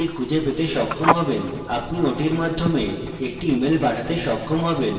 আপনি ওটির মাধ্যমে একটি email পাঠাতে সক্ষম হবেন